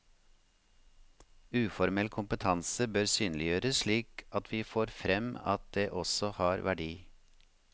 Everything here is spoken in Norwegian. Uformell kompetanse bør synliggjøres slik at vi får frem at det også har verdi.